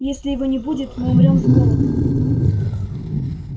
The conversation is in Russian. если его не будет мы умрём с голоду